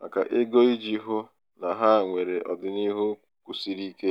maka ego iji hụ na ha nwere ọdịniihu kwụsiri ike.